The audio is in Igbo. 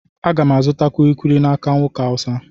Aga m azụta kulikuli n'aka nwoke Hausa.